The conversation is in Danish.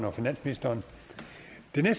det er